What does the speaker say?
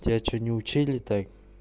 тебя что не учили так